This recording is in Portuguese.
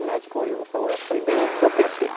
O médico olhou e falou, é, foi bem o que eu pensei.